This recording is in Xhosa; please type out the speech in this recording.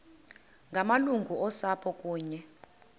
ngamalungu osapho kunye